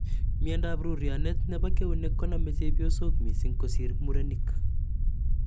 Miandoap rooryonet nepo keunek koname �chepyosok missing' kosir murenik.